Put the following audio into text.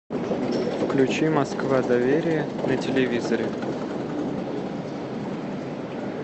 включи москва доверие на телевизоре